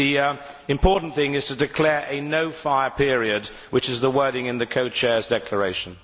But the important thing is to declare a no fire period', which is the wording in the Co Chairs' declaration.